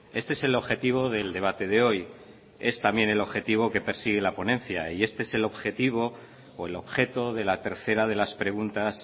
este es el objetivo del debate de hoy es también el objetivo que persigue la ponencia y este es el objetivo o el objeto de la tercera de las preguntas